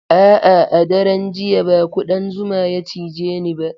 A'a, a daren jiya ba kuɗan zuma ya cije ni ba.